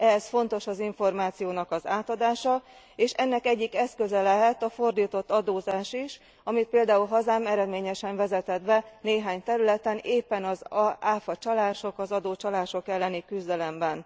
Ehhez fontos az információ átadása, és ennek egyik eszköze lehet a fordított adózás is, amit például hazám eredményesen vezetett be néhány területen éppen az áfacsalások, az adócsalások elleni küzdelemben.